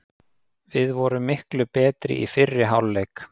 Við vorum miklu betri í fyrri hálfleik.